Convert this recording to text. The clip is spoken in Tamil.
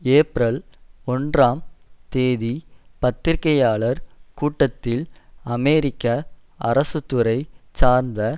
ஏப்ரல் ஒன்றாம் தேதி பத்திரிகையாளர் கூட்டத்தில் அமெரிக்க அரசு துறை சார்ந்த